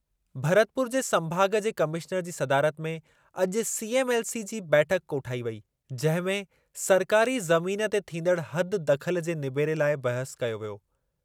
भरतपुर जे संभाग जे कमिश्नर जी सदारत में अॼु सीएमएलसी जी बैठकु कोठाई वेई, जंहिं में सरकारी ज़मीन ते थींदड़ु हद दख़ल जे निबेरे लाइ बहसु कई वेई।